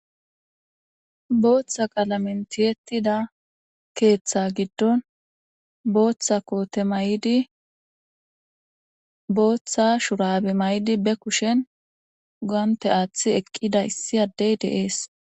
Booththa qalamentiyettida keeththa giddon booththa koote may'di booththa shurabe may'di be kushen ugante aaththi eqqida issi addey deees.